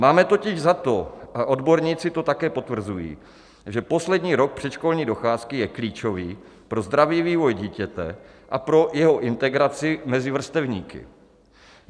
Máme totiž za to, a odborníci to také potvrzují, že poslední rok předškolní docházky je klíčový pro zdravý vývoj dítěte a pro jeho integraci mezi vrstevníky.